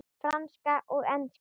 Franska og enska.